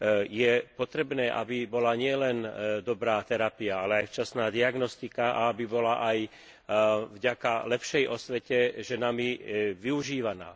Je potrebné, aby bola nielen dobrá terapia, ale aj včasná diagnostika, a aby bola aj vďaka lepšej osvete ženami využívaná.